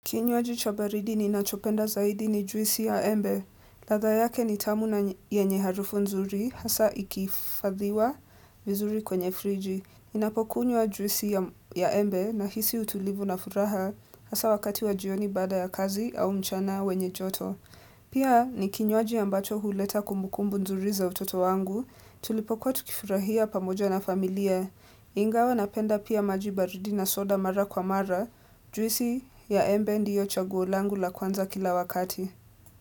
Kinywaji cha baridi ninachopenda zaidi ni juisi ya embe. Ladha yake ni tamu na yenye harufu nzuri, hasaa ikihifadhiwa vizuri kwenye friji. Ninapokunywa juisi ya embe nahisi utulivu na furaha hasaa wakati wa jioni baada ya kazi au mchana wenye joto. Pia ni kinywaji ambacho huleta kumbukumbu nzuri za utoto wangu, tulipokuwa tukifurahia pamoja na familia. Ingawa napenda pia maji baridi na soda mara kwa mara. Juisi ya embe ndiyo chaguo langu la kwanza kila wakati.